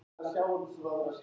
Það er allt tómt hjá okkur